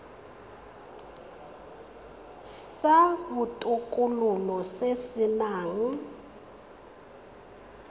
sa botokololo se se nang